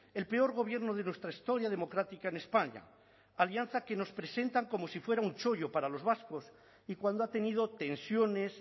el peor gobierno de nuestra historia democrática en españa alianza que nos presentan como si fuera un chollo para los vascos y cuando ha tenido tensiones